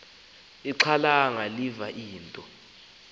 ixhalanga liva into